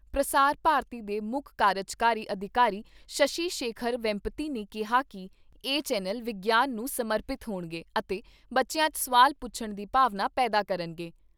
ਪ੍ਰਸਾਰ ਭਾਰਤੀ ਦੇ ਮੁੱਖ ਕਾਰਜਕਾਰੀ ਅਧਿਕਾਰੀ ਸ਼ਸ਼ੀ ਸ਼ੇਖਰ ਵੈਂਪਤੀ ਨੇ ਕਿਹਾ ਕਿ ਇਹ ਚੈਨਲ ਵਿਗਿਆਨ ਨੂੰ ਸਮਰਪਿਤ ਹੋਣਗੇ ਅਤੇ ਬਚਿਆਂ 'ਚ ਸੁਆਲ ਪੁੱਛਣ ਦੀ ਭਾਵਨਾ ਪੈਦਾ ਕਰਨਗੇ।